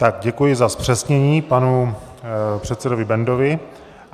Tak, děkuji za zpřesnění panu předsedovi Bendovi.